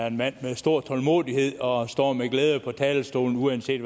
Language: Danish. en mand med stor tålmodighed og står med glæde på talerstolen uanset